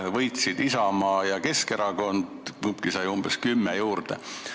Võitsid Isamaa ja Keskerakond, mõlemad said umbes kümme kohta juurde.